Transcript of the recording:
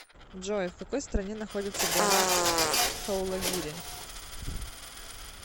джой в какой стране находится гора дхаулагири